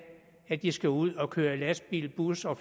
at de skal ud at køre i lastbil bus og